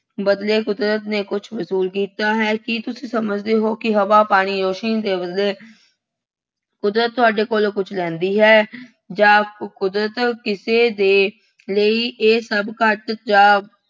ਬਦਲੇ ਕੁਦਰਤ ਨੇ ਕੁੱਝ ਵਸੂਲ ਕੀਤਾ ਹੈ। ਕੀ ਤੁਸੀਂ ਸਮਝਦੇ ਹੋ ਕਿ ਹਵਾ, ਪਾਣੀ, ਰੌਸ਼ਨੀ ਦੇ ਬਦਲੇ ਕੁਦਰਤ ਤੁਹਾਡੇ ਕੋਲੋਂ ਕੁੱਛ ਲੈਂਦੀ ਹੈ ਜਾਂ ਕੁਦਰਤ ਕਿਸੇ ਦੇ ਲਈ ਇਹ ਸਭ ਘੱਟ ਜਾਂ